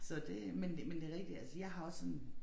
Så det men det men det rigtigt altså jeg har også sådan